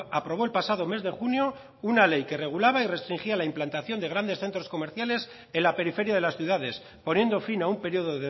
aprobó el pasado mes de junio una ley que regulaba y restringía la implantación de grandes centros comerciales en la periferia de las ciudades poniendo fin a un periodo